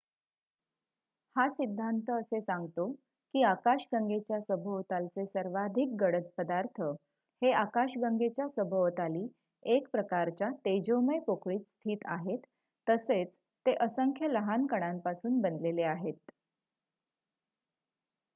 हा सिद्धांत असे सांगतो की आकाशगंगेच्या सभोवतालचे सर्वाधिक गडद पदार्थ हे आकाशगंगाच्या सभोवताली एकप्रकारच्या तेजोमय पोकळीत स्थित आहेत तसेच ते असंख्य लहान कणांपासून बनलेले आहेत